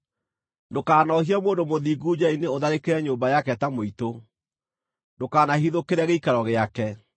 Ndũkanoohie mũndũ mũthingu njĩra-inĩ ũtharĩkĩre nyũmba yake ta mũitũ, ndũkanahithũkĩre gĩikaro gĩake;